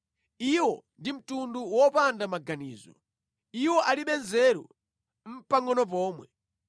Iwo ndi mtundu wopanda maganizo, iwo alibe nzeru nʼpangʼono pomwe.